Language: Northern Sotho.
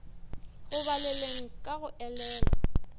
go baleng ka go elela